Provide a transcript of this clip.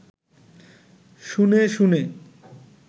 শুনে শুনে